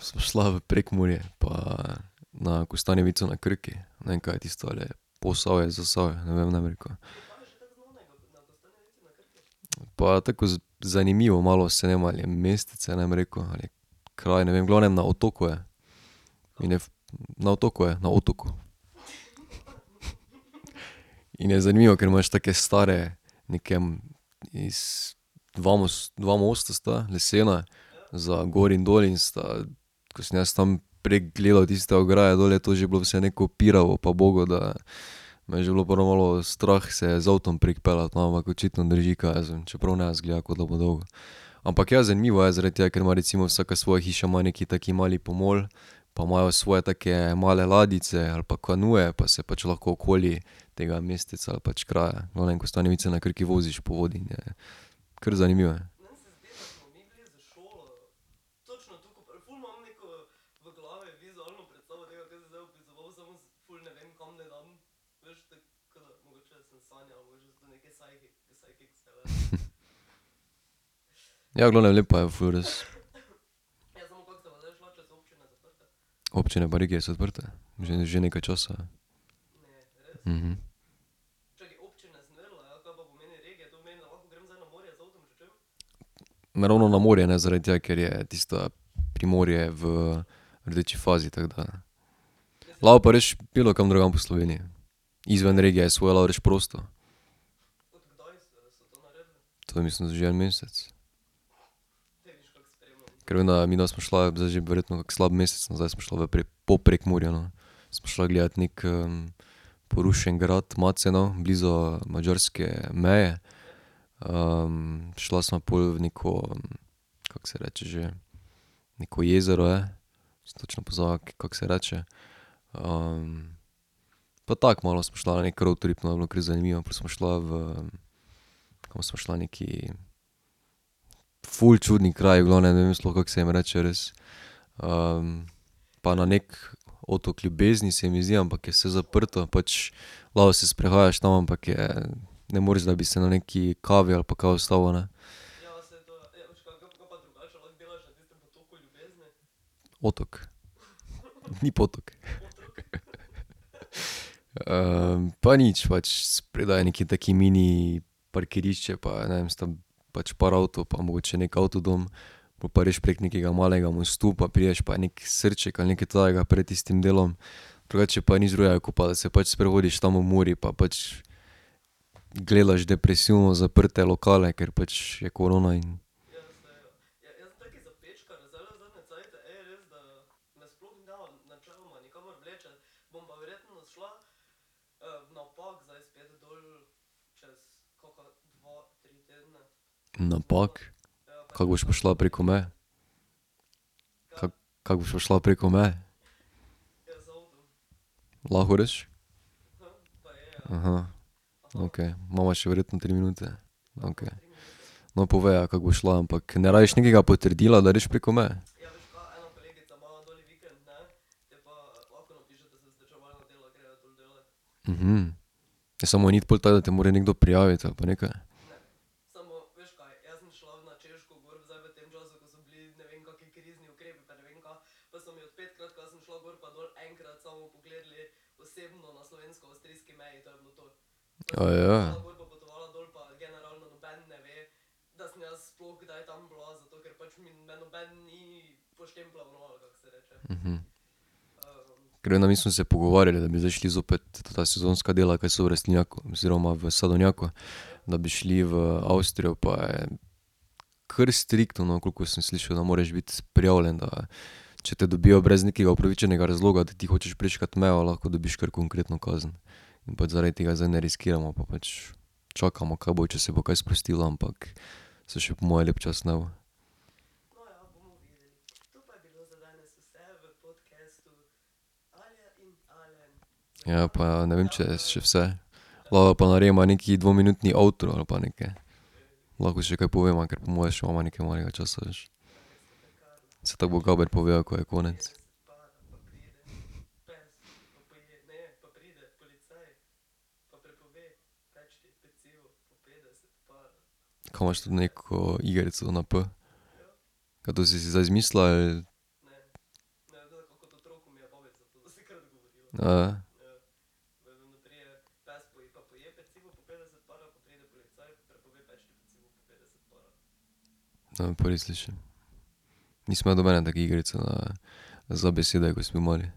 sva šla v Prekmurje pa, na Kostanjevico na Krki, ne vem, ka je tisto, ali je Posavje, Zasavje, ne vem, ne bom rekel. Pa tako, zanimivo malo, saj ne vem, a je mestece, ne bom rekel, ali je kraj, ne vem, v glavnem na otoku je. In je na otoku je, na otoku. In je zanimivo, ker imaš take stare, neke iz dva dva mosta sta lesena, za gor in dol in sta, ko sem jaz tam prek gledal tista ograja dol, je to že bilo vse neko pirovo pa ubogo, da me je že bilo prav malo strah se z avtom prek peljati, no, ampak očitno drži, kaj jaz vem, čeprav ne izgleda, kot da bo dolgo. Ampak ja, zanimivo je, zaradi tega, ker ima vsaka svoja hiša ima neki tak mali pomol, pa imajo svoje take male ladjice ali pa kanuje pa se pač lahko okoli tega mesteca ali pač kraja, no, Kostanjevica na Krki, voziš po vodi, ne, kar zanimivo. Ja, v glavnem lepa je ful res. Občine pa regije so odprte že, že nekaj časa, ja. Ne ravno na morje, ne, zaradi tega, ker je tista Primorje v rdeči fazi, tako da. Lahko pa greš bilokam drugam po Sloveniji, izven regije svoje lahko greš prosto. To je mislim, da že en mesec. Ker vem, da midva sva šla, zdaj že verjetno kak slab mesec nazaj, sva šla v po Prekmurju, no. Sva šla gledat neki, porušen grad Maceno blizu madžarske meje, šla sva pol v neko, kako se reče že, neko jezero je, sem točno pozabil, kako se reče. pa tako malo sva šla na neki roadtrip, no, je bilo kar zanimivo, pol sva šla v, kam sva šla, nekaj, ful čudni kraji v glavnem, ne vem sploh, kako se jim reče, res. pa na neki Otok ljubezni, se mi zdi, ampak je vse zaprto, pač lahko se sprehajaš tam, ampak je, ne moreš, da bi se na neki kavi ali pa kaj ustavil, ne. Otok. Ni potok. pa nič pač, spredaj je neko tako mini parkirišče pa ne vem pač par avtov pa mogoče neki avtodom, pol pa greš preko nekega malega mostu pa prideš pa je neki srček ali nekaj takega pred tistim delom, drugače pa nič drugega, kot pa da se pač sprehodiš tam ob Muri pa pač gledaš depresivno zaprte lokale, ker pač je korona in ... Na Pag? Kako boš pa šla preko meje? Kako, kako boš pa šla preko meje? Lahko greš? Okej, imava še verjetno tri minute. Okej. No, povej, ja, kako boš šla. Ampak ne rabiš nekega potrdila, da greš preko meje? Ja, samo ni pol tako, da te mora nekdo prijaviti ali pa nekaj? Ker, no, mi smo se pogovarjali, da bi zdaj šli zopet ta sezonska dela, kaj so v rastlinjaku oziroma v sadovnjaku, da bi šli v Avstrijo, pa je kar striktno, no, koliko sem slišal, da moreš biti prijavljen, da če te dobijo brez nekega upravičenega razloga, da ti hočeš prečkati mejo, lahko dobiš kar konkretno kazen. In pač zaradi tega zdaj ne riskiramo, pa pač čakamo, kaj bo, če se bo kaj sprostilo, ampak se še po moje lep čas ne bo. Ja, pa ne vem, če je še vse. Lahko pa narediva neki dvominutni outro ali pa nekaj. Lahko še kaj poveva, ker po moje še imava nekaj malega časa, veš. Saj tako bo Gaber povedal, ko je konec. Ka imaš to neko igrico na P? Ka to si si zdaj zmislila, ali? Ne, prvič slišim. Nisem imel nobene take igrice na, za besede, ko sem bil mali.